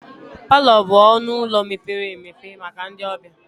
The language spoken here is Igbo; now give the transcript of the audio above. Palọ bụ ọnụ ụlọ mepere emepe maka ndị ọbịa.